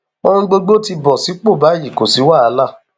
ohun gbogbo ti bọ sípò báyìí kò sí wàhálà